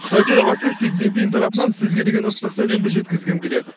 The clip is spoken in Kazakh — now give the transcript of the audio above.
қытай төрағасы си цзиньпин тарапынан сізге деген ыстық сәлемді жеткізгім келеді